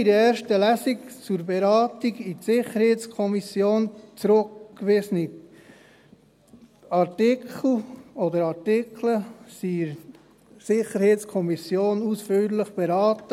Die in der ersten Lesung zur Beratung in die SiK zurückgewiesenen Artikel wurden in der SiK ausführlich beraten.